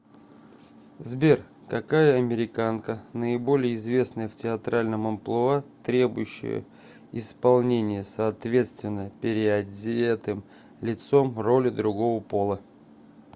сбер какая американка наиболее известная в театральном амплуа требующее исполнения соответственно переодетым лицом роли другого пола